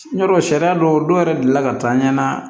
N y'a dɔn sariya dɔw yɛrɛ delila ka taa an ɲɛ na